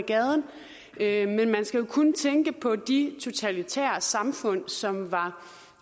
gaden men man skal jo kun tænke på de totalitære samfund som var